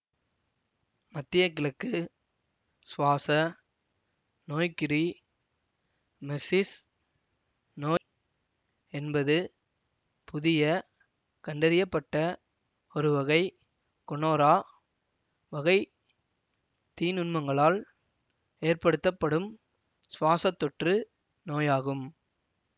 மத்தியகிழக்கு சுவாச நோய்க்குறி மெர்சிஸ் நோய் என்பது புதிய கண்டறிய பட்ட ஒருவகை கொனோரா வகை தீநுண்மங்களால் ஏற்படுத்தப்படும் சுவாசத் தொற்று நோயாகும்